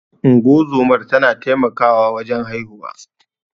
Unguwar zoma tana taimakawa wajen haihuwa.